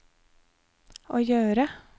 å gjøre